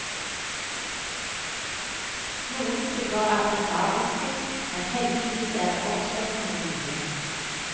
Noen klubber er blitt avviklet men heldigvis er det oppstått noen nye.